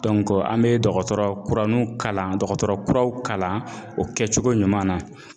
an bɛ dɔgɔtɔrɔ kuraniw kalan dɔgɔtɔrɔ kuraw kalan o kɛcogo ɲuman na